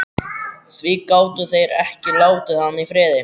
Því gátu þeir ekki látið hann í friði?